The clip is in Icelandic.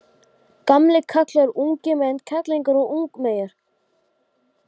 Hjá hinum sem eftir situr er tíminn úr föstu efni.